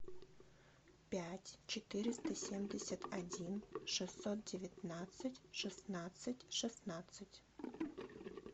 пять четыреста семьдесят один шестьсот девятнадцать шестнадцать шестнадцать